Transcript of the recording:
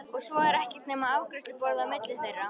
Og svo er ekkert nema afgreiðsluborðið á milli þeirra.